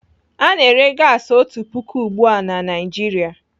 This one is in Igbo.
Ana ere gasi otu puku ugbu a na Naijiria